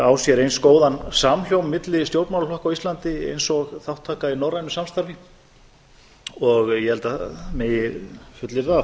á sér eins góðan samhljóm milli stjórnmálaflokka á íslandi eins og þátttaka í norrænu samstarfi ég held að það megi fullyrða að